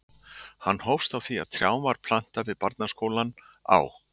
Hann hófst á því að trjám var plantað við barnaskólann á